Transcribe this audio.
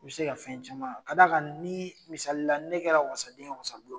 I be se ka fɛn caman ka d'a kan ni misalila ni ne kɛra wasaden ye wasabulon kɔnɔ